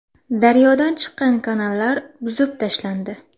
Daryodan chiqqan kanallar buzib tashlandi.